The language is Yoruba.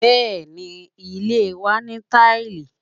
Bẹẹni, ilé wa ní taili.